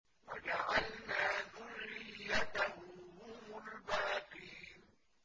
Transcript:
وَجَعَلْنَا ذُرِّيَّتَهُ هُمُ الْبَاقِينَ